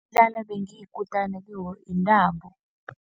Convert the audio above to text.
Umdlalo ebengiyikutani kiwo yintambo.